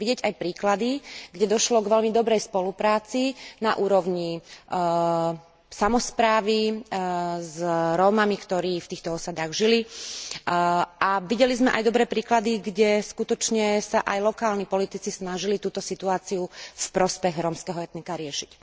Vidieť aj príklady, kde došlo k veľmi dobrej spolupráci na úrovni samosprávy s Rómami, ktorí v týchto osadách žili, a videli sme aj dobré príklady, kde sa aj lokálni politici skutočne snažili túto situáciu v prospech rómskeho etnika riešiť.